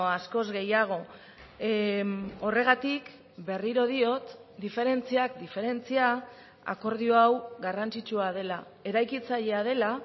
askoz gehiago horregatik berriro diot diferentziak diferentzia akordio hau garrantzitsua dela eraikitzailea dela